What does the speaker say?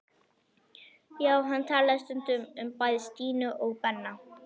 Já, hann talaði stundum um bæði Stínu og Benna.